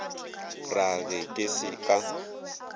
ra ge ke se ka